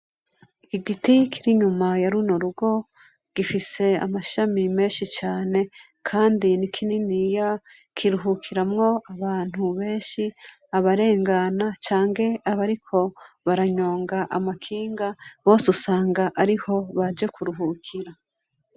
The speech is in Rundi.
Igiti kiri inyuma yaruno rugo gifise amashami menshi cane kandi nikininiya kiruhukiramwo abantu benshi abarengana canke abariko baranyonga amakinga bose usanga ariho baje kuruhukira.